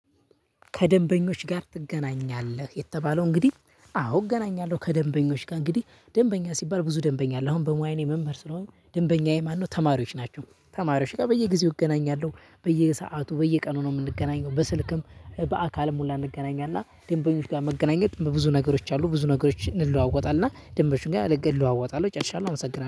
ከደንበኞች ጋር ትገናኛለህ። የተባለው እንግዲ አዎ አገናኛለሁ። ከደንበኞች ጋር እንግዲ ደንበኛ ሲባል ብዙ ደንበኛ አለ አሁን በሙያዬ መምህር ስለሆንክ ደንበኛዬ ማን ነው? ተማሪዎች ናቸው ተማሪዎች ጋር በየጊዜው እገናኛለሁ። በየሰአቱ በየቀኑ ነው የምንገናኘው በስልክም በአካልም ሁላ እንገናኛለን። እና ደንበኞች ጋር መገናኘት በብዙ ነገሮች አሉ ብዙ ነገሮች እንለዋወጣለን። ደንበኞች ጋር አለገድ ለዋወጣለን ጨርሻለሁ። አመሰግናለሁ